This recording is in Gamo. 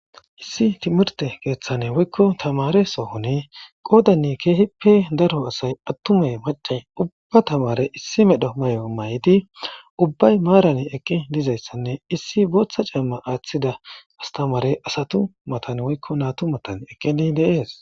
Issi thimirththe keeththani woykko thamaare sohoni qoodanne keehippe daro asay aththumey macce ubba thamaare issi medho may7o may7idi ubbay maaran eqqi dizayssanne issi booththa camma aaththida asthamaare asathu mathan woykko naathu mathan eqqidi de7ees.